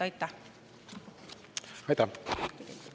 Aitäh!